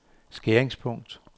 skæringspunkt